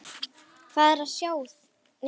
Hvað er að sjá